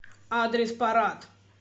адрес парад